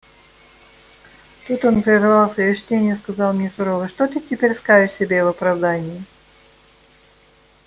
тут он прервал своё чтение и сказал мне сурово что ты теперь скажешь себе в оправдание